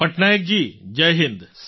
પટનાયકજી જય હિન્દ